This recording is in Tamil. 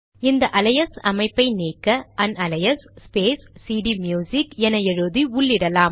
இந்த அலையஸ் அமைப்பை நீக்க அன்அலையஸ் ஸ்பேஸ் சிடிம்யுசிக் என எழுதி உள்ளிடலாம்